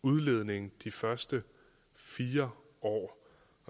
udledning de første fire år